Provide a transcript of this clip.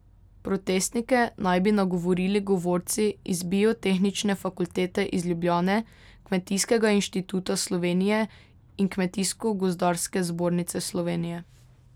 Protestnike naj bi nagovorili govorci iz Biotehnične fakultete iz Ljubljane, Kmetijskega inštituta Slovenije in Kmetijsko gozdarske zbornice Slovenije.